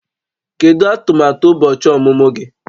Kedu atụmatụ ụbọchị ọmụmụ gị?